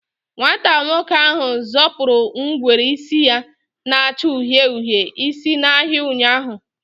Nwata nwoke ahụ zọpụrụ ngwere isi ya na-acha uhie uhie isi n'ahịa ụnyaahụ.